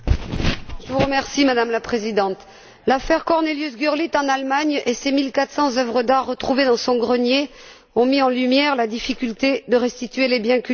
Madame la Présidente, l'affaire CorneliusGurlitt, en Allemagne, et ses 1400œuvres d'art retrouvées dans son grenier ont mis en lumière la difficulté de restituer les biens culturels spoliés.